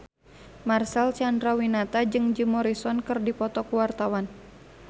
Marcel Chandrawinata jeung Jim Morrison keur dipoto ku wartawan